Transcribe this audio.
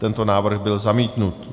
Tento návrh byl zamítnut.